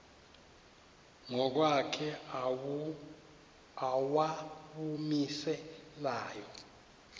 ngokwakhe owawumise layo